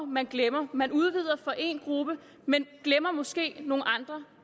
man glemmer man udvider for en gruppe men glemmer måske nogle andre